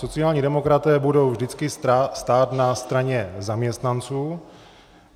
Sociální demokraté budou vždycky stát na straně zaměstnanců.